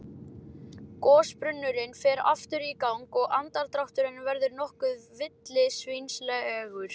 Gosbrunnurinn fer aftur í gang og andardrátturinn verður nokkuð villisvínslegur.